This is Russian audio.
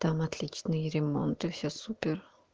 там отличный ремонт и все супер